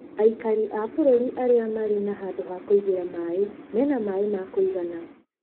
Aikari a bũrũri arĩa marĩ na handũ ha kuigĩra maĩ mena maĩ ma kũigana.